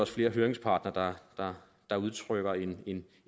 flere høringsparter der udtrykker